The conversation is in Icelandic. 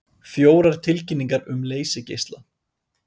Fjórar tilkynningar um leysigeisla